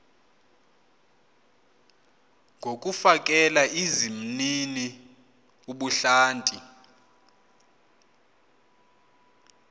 ngokufakela izimnini ubuhlanti